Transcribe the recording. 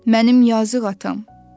Mənim yazıq atam.